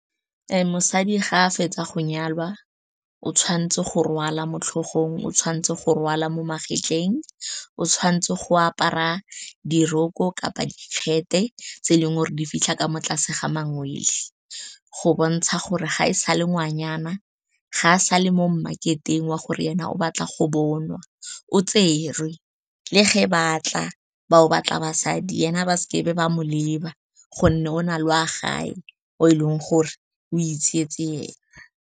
Mosadi ga a fetsa go nyalwa, o tshwanetse go rwala mo tlhogong, o tshwanetse go rwala mo magetleng, o tshwanetse go apara diroko kapa dikete, tse e leng gore di fitlha ka mo tlase ga mangwele, go bontsha gore ga e sa le ngwanyana. Ga a sa le mo mmaketeng wa gore ena o batla go bonwa, o tserwe, le ge batla ba o batla basadi, ena ba seke ba mo leba gonne o na le wa gage, o e leng gore o itsetse ena.